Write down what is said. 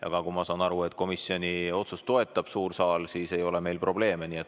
Ja nagu ma aru saan, toetab suur saal komisjoni otsust, nii et meil ei ole probleeme.